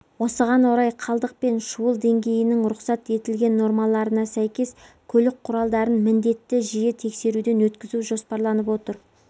осыған орай қалдық пен шуыл деңгейінің рұқсат етілген нормаларына сәйкес көлік құралдарын міндетті жиі тексеруден өткізу жоспарланып отыр